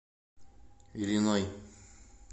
ильиной